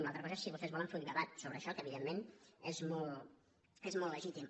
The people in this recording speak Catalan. una altra cosa és si vostès volen fer un debat sobre això que evidentment és molt le·gítim